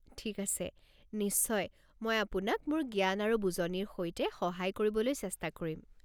ঠিক আছে, নিশ্চয়। মই আপোনাক মোৰ জ্ঞান আৰু বুজনিৰ সৈতে সহায় কৰিবলৈ চেষ্টা কৰিম।